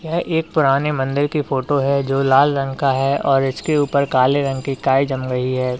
यह एक पुराने मंदिर की फोटो है जो लाल रंग का है और इसके ऊपर काले रंग की काई जम गई है।